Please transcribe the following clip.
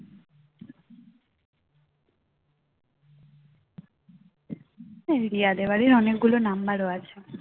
রিয়াদের বাড়ির অনেকগুলো number ও আছে